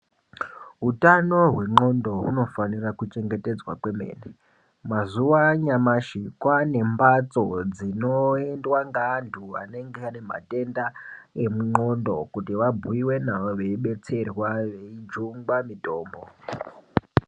Hutano hwengondlo unofana kuchengetedzwa kwemene mazuwa anyamashi kwane mbatso dzinoendwa neantu anenge ane matenda engondlo kuti abhuyiwe nawo veidetserwa veijungwe mutombo.